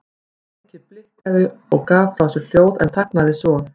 Tækið blikkaði og gaf frá sér hljóð en þagnaði svo.